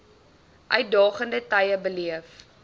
uitdagende tye beleef